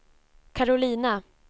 Karolina